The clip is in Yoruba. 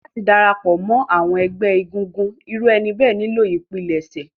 Láti dára pọ̀ mọ́ àwọn ẹgbẹ́ egungun, irú ẹni bẹ́ẹ̀ nílò ìpilẹ̀ṣẹ̀.